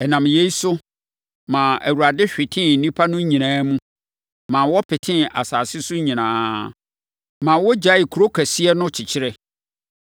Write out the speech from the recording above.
Ɛnam yei so maa Awurade hwetee nnipa no nyinaa mu, ma wɔpetee asase so nyinaa, ma wɔgyaee kuro kɛseɛ no kyekyere.